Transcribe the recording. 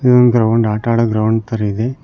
ಇದು ಒಂದು ಗ್ರೌಂಡ್ ಆಟ ಆಡೋ ಗ್ರೌಂಡ್ ತರ ಇದೆ.